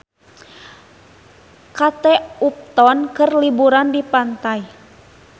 Kate Upton keur liburan di pantai